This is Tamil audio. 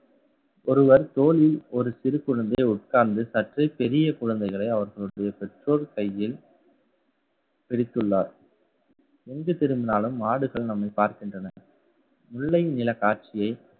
ஒருவர் தோளில் ஒரு சிறு குழந்தை உட்கார்ந்து சற்று பெரிய குழந்தைகளை அவர்களுடைய பெற்றோர் கையில், பிடித்துள்ளார். எங்கு திரும்பினாலும் மாடுகள் நம்மை பார்க்கின்றன. முல்லை நிலக் காட்சியை